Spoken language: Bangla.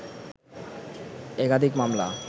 একাধিক মামলা